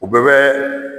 U bɛɛ bɛ